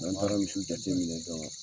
N'an taara misiw jateminɛ